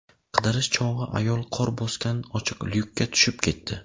Qidirish chog‘i ayol qor bosgan ochiq lyukka tushib ketdi.